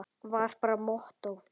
Var bara mottó.